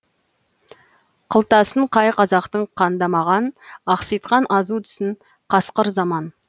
қылтасын қай қазақтың қандамаған ақситқан азу тісін қасқыр заман